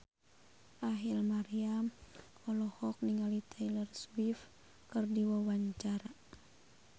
Rachel Maryam olohok ningali Taylor Swift keur diwawancara